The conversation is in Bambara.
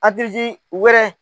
Hakili jigin wɛrɛ